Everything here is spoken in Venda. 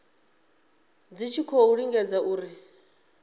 dzi tshi khou lingedza uri